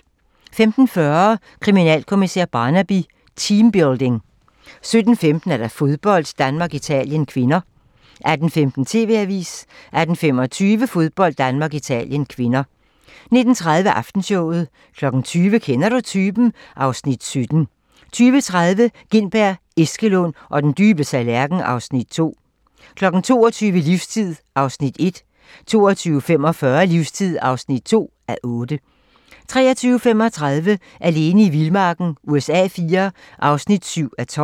15:40: Kriminalkommissær Barnaby: Teambuilding 17:15: Fodbold: Italien-Danmark (k) 18:15: TV-avisen 18:25: Fodbold: Italien-Danmark (k) 19:30: Aftenshowet 20:00: Kender du typen? (Afs. 17) 20:30: Gintberg, Eskelund og den dybe tallerken (Afs. 2) 22:00: Livstid (1:8) 22:45: Livstid (2:8) 23:35: Alene i vildmarken USA IV (7:12)